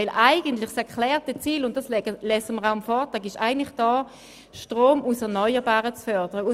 Denn das erklärte Ziel, das auch in der Vorlage erwähnt wird, ist die Förderung von Strom aus erneuerbaren Energien.